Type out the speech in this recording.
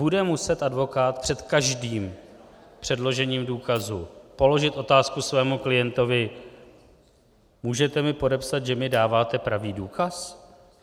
Bude muset advokát před každým předložením důkazu položit otázku svému klientovi: můžete mi podepsat, že mi dáváte pravý důkaz?